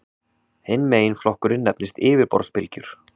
Hinn meginflokkurinn nefnist yfirborðsbylgjur.